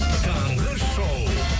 таңғы шоу